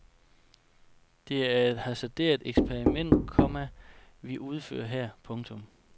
Det er et hasarderet eksperiment, komma vi udfører her. punktum